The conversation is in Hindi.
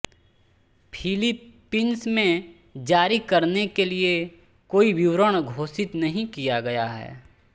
फिलीपींस में जारी करने के लिए कोई विवरण घोषित नहीं किया गया है